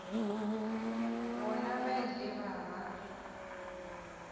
bona ba ile ba ba